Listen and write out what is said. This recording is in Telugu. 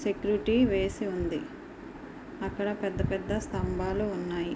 వేసి ఉంది. అక్కడ పెద్ద పెద్ద స్తంభాలు ఉన్నాయి.